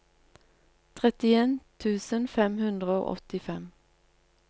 trettien tusen fem hundre og åttifem